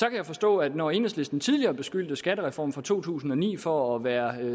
jeg forstå at når enhedslisten tidligere beskyldte skattereformen fra to tusind og ni for at være